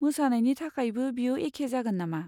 मोसानायनि थाखायबो बेयो एखे जागोन नामा?